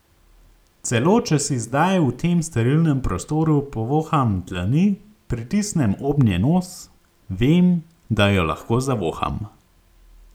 Celo če si zdaj v tem sterilnem prostoru povoham dlani, pritisnem obnje nos, vem, da jo lahko zavoham.